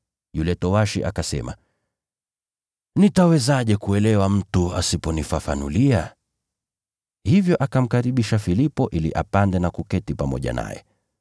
Yule towashi akasema, “Nitawezaje kuelewa mtu asiponifafanulia?” Hivyo akamkaribisha Filipo ili apande na kuketi pamoja naye.